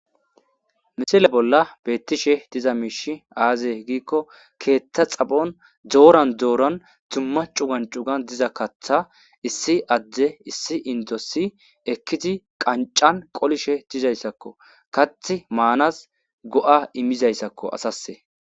Misile bola betishe diza mishi aze giko ketha xaphon doran doran duma c'ugan c'ugan diza katha issi adey issi indos ekidi qanc'an qolishe dizaysako kathi manas go'a imizayssakko asas.